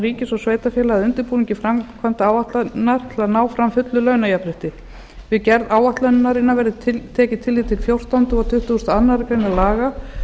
ríkis og sveitarfélaga að undirbúningi framkvæmdaáætlunarinnar til að ná fram fullu launajafnrétti við gerð áætlunarinnar verði tekið tillit til fjórtánda og tuttugasta og aðra grein laga